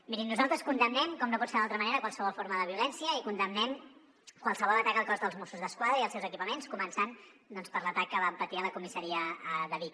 mirin nosaltres condemnem com no pot ser d’altra manera qualsevol forma de violència i condemnem qualsevol atac al cos de mossos d’esquadra i als seus equipaments començant per l’atac que van patir a la comissaria de vic